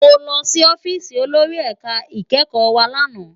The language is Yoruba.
Mó lòsì òfisi ólóri èká ikèékò wá làná